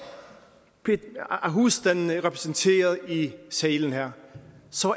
et husstandene repræsenteret i salen her